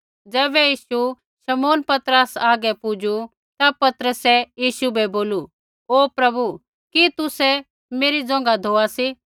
ज़ैबै यीशु शमौन पतरसा हागै पुजू ता पतरसै यीशु बै बोलू ओ प्रभु कि तुसै मेरी ज़ोंघा धोआ सी